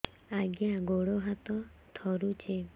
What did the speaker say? ଆଜ୍ଞା ଗୋଡ଼ ହାତ ଥରୁଛି